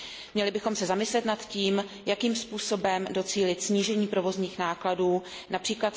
Měli bychom se zamyslet nad tím, jakým způsobem docílit snížení provozních nákladů, např.